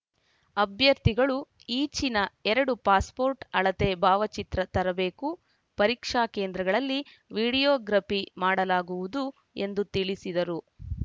ಅಭ್ಯರ್ಥಿಗಳು ಈಚಿನ ಎರಡು ಪಾಸ್‌ಪೋರ್ಟ್‌ ಅಳತೆ ಭಾವಚಿತ್ರ ತರಬೇಕು ಪರೀಕ್ಷಾ ಕೇಂದ್ರಗಳಲ್ಲಿ ವೀಡಿಯೋಗ್ರಫಿ ಮಾಡಲಾಗುವುದು ಎಂದು ತಿಳಿಸಿದರು